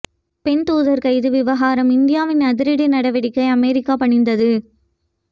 பெண் தூதர் கைது விவகாரம் இந்தியாவின் அதிரடி நடவ்டிக்கை அமெரிக்கா பணிந்தது